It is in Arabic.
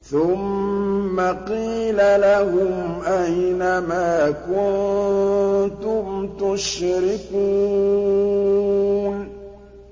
ثُمَّ قِيلَ لَهُمْ أَيْنَ مَا كُنتُمْ تُشْرِكُونَ